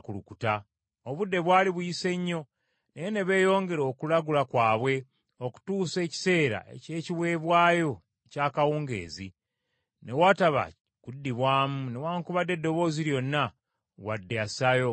Obudde bwali buyise nnyo, naye ne beeyongera okulagula kwabwe okutuusa ekiseera eky’ekiweebwayo eky’akawungeezi. Ne wataba kuddibwamu, newaakubadde eddoboozi lyonna, wadde assaayo omwoyo.